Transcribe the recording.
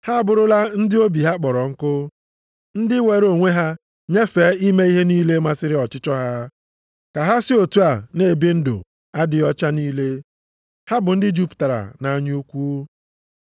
Ha abụrụla ndị obi ha kpọrọ nkụ, ndị were onwe ha nyefee ime ihe niile masịrị ọchịchọ ha, ka ha si otu a na-ebi ndụ adịghị ọcha niile, ha bụ ndị jupụtara nʼanya ukwu.